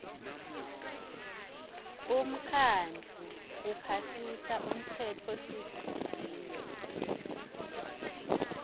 umkhandlu uphasisa umtsetfosivivinyo